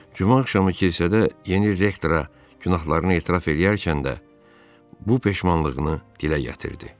Cümə axşamı kilsədə yeni rektora günahlarını etiraf eləyərkən də bu peşmanlığını dilə gətirdi.